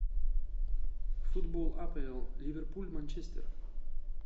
футбол апл ливерпуль манчестер